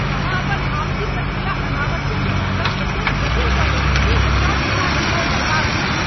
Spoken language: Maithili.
अहाँ अपन आपसी प्रक्रिया अनावश्यक रूपसँ एतेक जटिल कऽ लेने छी जे सभगोटाक समय बरबाद होयत।